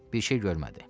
Bir şey görmədi.